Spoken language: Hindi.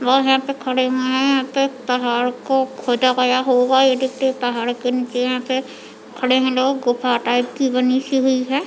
वह यहाँ पे खड़े हुए है यहाँ पे पहाड़ को खोदा गया होगा ये देखिए पहाड़ के नीचे यहाँ पे खड़े है लोग गुफा टाइप की बनी सी हुई है।